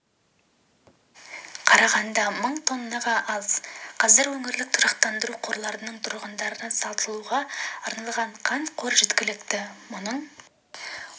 қарағанда мың тоннаға аз қазір өңірлік тұрақтандыру қорларында тұрғындарға сатылуға арналған қант қоры жеткілікті мұның